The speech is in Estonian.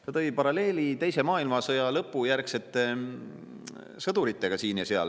Ta tõi paralleeli teise maailmasõja lõpu järel sõduritega siin ja seal.